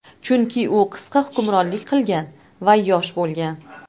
Chunki u qisqa hukmronlik qilgan va yosh bo‘lgan.